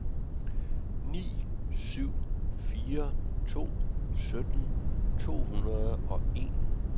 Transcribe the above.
ni syv fire to sytten to hundrede og en